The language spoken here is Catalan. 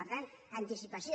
per tant anticipació